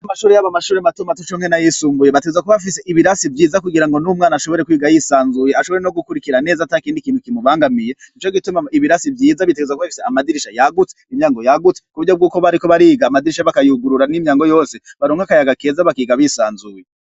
Amashure mato mato cokimwe nayisumbuye bategerezwa kuba bafise ibirasi vyiza kugira ngo numwana ashobore kwiga yisanzuye ashobore nogukurikira neza atakindi kintu kimubangamiye nicogituma ibirasi vyiza bitegerezwa kuba bifise amadirisha yagutse imiryango yagutse kuburyo nkiyo bariko bariga amadirisha bakayugurura nimyango yose baronga akayaga keza bakiga bisanzuye